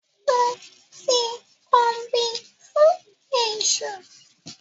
Mo ti kanbí fún èṣù